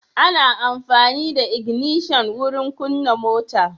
Ana amfani da ignishan wurin kunna mota.